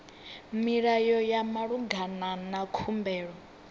milayo ya malugana na khumbelo